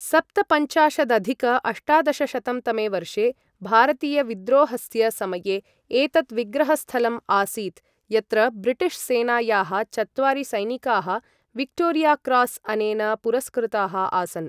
सप्तपञ्चाशदधिक अष्टादशशतं.तमे वर्षे भारतीयविद्रोहस्य समये एतत् विग्रहस्थलम् आसीत् यत्र ब्रिटिश् सेनायाः चत्वारि सैनिकाः विक्टोरियाक्रास् अनेन पुरस्कृताः आसन्।